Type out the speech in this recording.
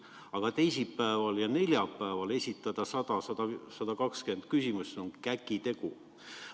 Aga teisipäeval ja neljapäeval esitada 100–120 küsimust on käkitegu.